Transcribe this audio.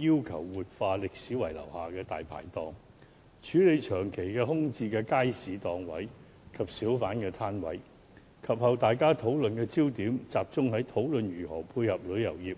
及後，大家對墟市議題的討論焦點集中於如何配合旅遊業，